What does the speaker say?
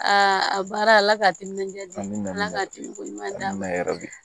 a baara ala ka timinan diya ala ka timi ko ɲuman kɛ yɔrɔ di